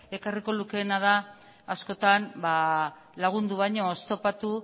ekarriko lukeena da askotan lagundu baino oztopatu